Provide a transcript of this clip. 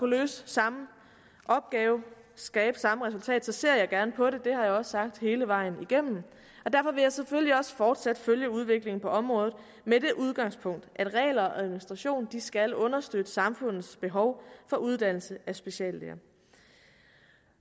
løse samme opgave skabe samme resultat så ser jeg gerne på det det har jeg også sagt hele vejen igennem og derfor vil jeg selvfølgelig også fortsat følge udviklingen på området med det udgangspunkt at regler og administration skal understøtte samfundets behov for uddannelse af speciallæger